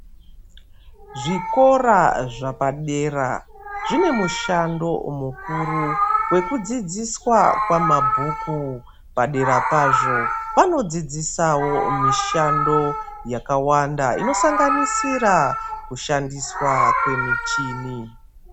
Zvikora zvepadera zvine mushando mukuru wekudzidziswa kwamabhuku Padera pazvo vanodzidzisawo mishando yakawanda inosanganisira kushandiswa kwemichini.